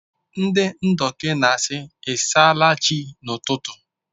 Ndị Ndoki na-asị “I s’ala Chi” n’ụtụtụ.